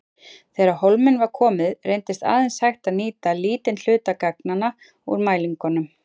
Þegar á hólminn var komið reyndist aðeins hægt að nýta lítinn hluta gagnanna úr mælingunum.